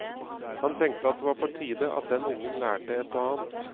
Han tenkte at det var på tide at den ungen lærte ett og annet.